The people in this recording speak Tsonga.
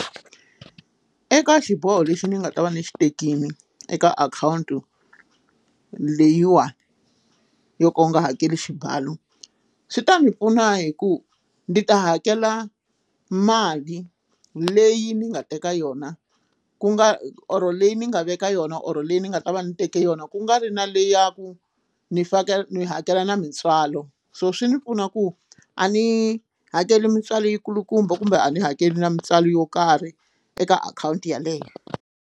Eka xiboho lexi ni nga ta va ni xi tekile eka akhawunti leyiwa yo ka u nga hakeli xibalo swi ta ndzi pfuna hi ku ndzi ta hakela mali leyi ni nga teka yona ku nga or leyi ni nga veka yona or leyi ni nga ta va ni teke yona ku nga ri na leyi ya ku ni fanekele ni hakela na mintswalo so swi ndzi pfuna ku a ni hakeli mintswalo yi kulukumba kumbe a ni hakeli na mintswalo yo karhi eka akhawunti yeleyo.